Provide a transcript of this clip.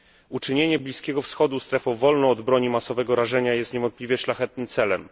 Uczynienie Bliskiego Wschodu strefą wolną od broni masowego rażenia jest niewątpliwie szlachetnym celem.